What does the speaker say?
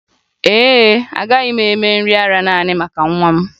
Ee e, agaghị m eme nri ara nanị maka nwa m